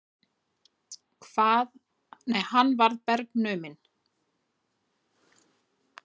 Hann varð bergnuminn.